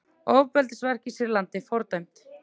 Ofbeldisverk í Sýrlandi fordæmd